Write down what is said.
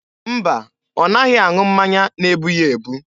Mba, ọ naghị aṅụ mmanya na-ebu ya ebu.